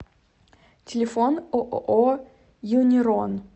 телефон ооо юнирон